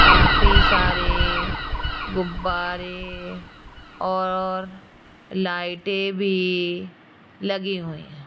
काफी सारे गुब्बारे और लाइटें भी लगी हुई --